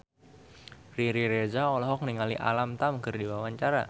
Riri Reza olohok ningali Alam Tam keur diwawancara